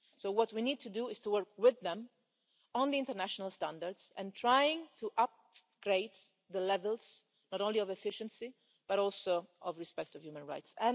So what we need to do is to work with them on the international standards and try to upgrade the levels not only of efficiency but also of respect of human rights.